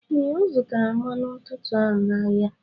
Ee, Ọ zụtara mmanụ ntutu ahụ n'ahịa.